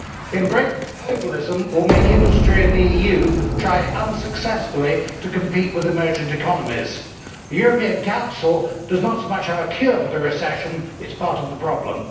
Increasing globalism will make industry in the EU try unsuccessfully to compete with emergent economies. The European Council does not so much have a cure for the recession, it is part of the problem.